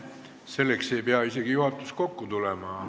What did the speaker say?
Selleks ei pea isegi juhatus kokku tulema.